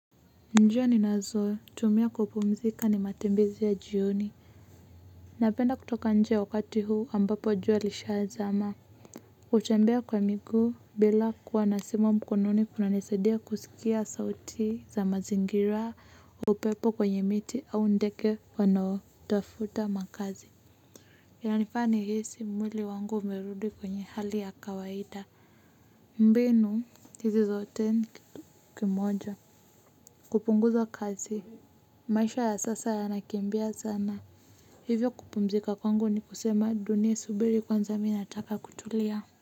Njia ninazotumia kupumzika ni matembezi ya jioni. Napenda kutoka nje ya wakati huu ambapo jua lishazama hutembea kwa miguu bila kuwa na simu mkononi kunanisadia kusikia sauti za mazingira upepo kwenye miti au ndege wanaotafuta makazi. Yanifanya nihisi mwili wangu umerudi kwenye hali ya kawaida. Mbinu hizi zote ni kitu kimoja kupunguza kazi. Maisha ya sasa yanakimbia sana. Hivyo kupumzika kwangu ni kusema dunia subiri kwanza mimi nataka kutulia.